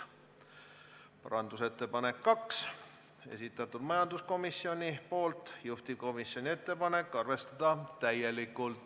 Teise parandusettepaneku on samuti esitanud majanduskomisjon, juhtivkomisjoni ettepanek on arvestada seda täielikult.